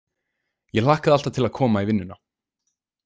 Ég hlakkaði alltaf til að koma í vinnuna.